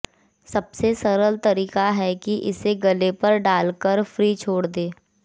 सबसे सरल तरीका है कि इसे गले पर डालकर फ्री छोड़ दें